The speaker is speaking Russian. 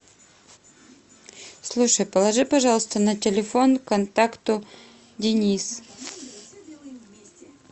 слушай положи пожалуйста на телефон контакту денис